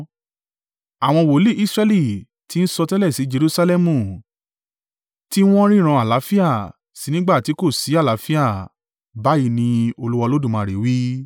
Àwọn wòlíì Israẹli tí ń sọtẹ́lẹ̀ sí Jerusalẹmu, tí wọn ríran àlàáfíà sí i nígbà ti kò sì àlàáfíà, báyìí ni Olúwa Olódùmarè wí.” ’